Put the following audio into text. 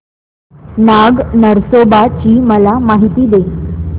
नाग नरसोबा ची मला माहिती दे